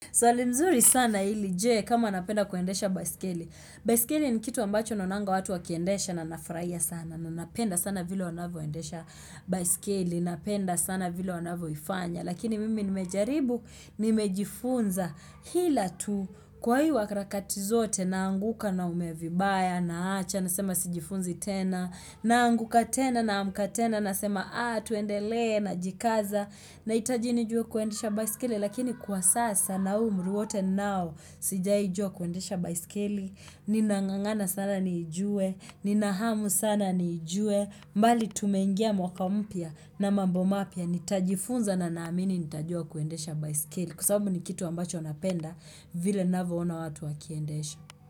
Swali nzuri sana ili je kama napenda kuendesha baiskeli. Baiskeli ni kitu ambacho naonanga watu wakiendesha na nafurahia sana. Nanapenda sana vile wanavyoendesha baiskeli. Napenda sana vile wanavyo ifanya. Lakini mimi nimejaribu, nimejifunza. Hila tu kwa hii wakarakati zote na anguka na umevibaya, na acha, na sema sijifunzi tena. Na anguka tena, na amka tena, na sema ah tuendele na jikaza. Na itajini juwe kuendesha baiskeli, lakini kwa sasa na umruwote nao sijai jua kuendesha baiskeli, ninangangana sana ni juwe, ninahamu sana ni juwe, mbali tumengia mwaka umpya na mambomapya, nitajifunza na naamini nitajua kuendesha baiskeli, kwa sababu ni kitu ambacho napenda, vile navyo ona watu wakiendesha.